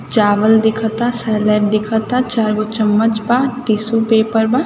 चावल दिखा ता सैलेड दिखा था चारगो चम्मच बा टीसु पेपर बा।